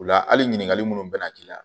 U la hali ɲininkali munnu bɛ na k'i la